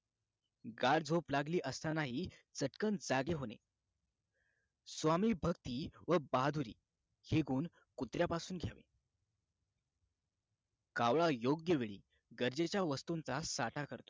गाढ झोप लागली असता नाही चटकन जागे होणे स्वामीभक्ती व बहादुरी हे गुण कुत्र्यापासून घ्यावे कावळा योग्य वेळी गरजेच्या वस्तूच्या साठा करतो